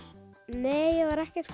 nei ég var ekkert